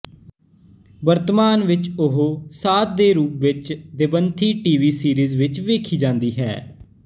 ਵਰਤਮਾਨ ਵਿੱਚ ਉਹ ਸਾਧਿ ਦੇ ਰੂਪ ਵਿੱਚ ਦੇਵੰਥੀ ਟੀ ਵੀ ਸੀਰੀਜ਼ ਵਿੱਚ ਵੇਖੀ ਜਾਂਦੀ ਹੈ